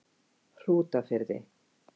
Hrútafirði